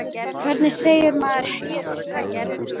Hvernig segir maður: Ég er svöng?